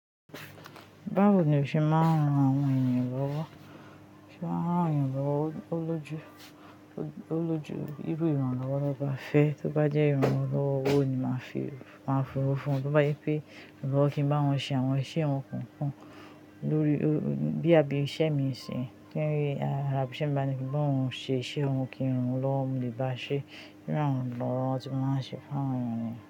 Báwo ni o ṣe máa ń ran àwọn ènìyàn lọ́wọ́? Ṣé ó máa ń rán àwọn èyan lọ́wọ́ ó lójú, ó lójú irú ìrànlọ́wọ́ to bá fẹ́ tó bá jẹ́ ìrànlọ́wọ́ owo ni màá fi, màá fi owó fún un, tó bá je pé iranlowo kí n bá wọn ṣe àwọn iṣẹ́ wọn kankan lórí i, bí i iṣẹ́ mi ṣìn ki arà ibí iṣẹ́ mi bá ní kí n bá òun ṣe iṣẹ́ oun kí ìrànlọ́wọ́ mo lè bá a ṣe, bí ìrànlọ́wọ́ tí mo máa ń ṣe fún àwọn ènìyàn.